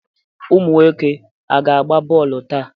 Ụmụ nwoke aga agba bọọlụ taa?